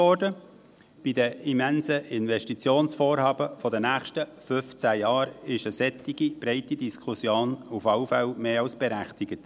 Bei den immensen Investitionsvorhaben der nächsten 15 Jahre ist eine solch breite Diskussion auf jeden Fall mehr als berechtigt.